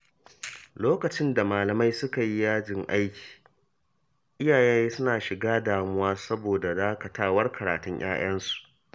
Lokacin da malamai suka yi yajin aiki, iyaye suna shiga damuwa saboda dakatawar karatun ƴaƴansu.